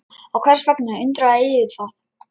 Og hvers vegna undrar yður það?